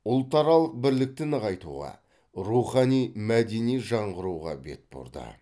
ұлтаралық бірлікті нығайтуға рухани мәдени жаңғыруға бет бұрды